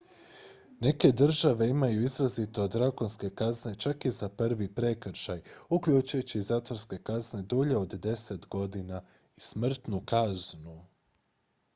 neke države imaju izrazito drakonske kazne čak i za prvi prekršaj uključujući zatvorske kazne dulje od 10 godina i smrtnu kaznu